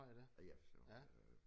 Ja ja for søren øh